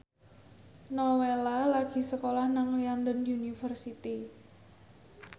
Nowela lagi sekolah nang London University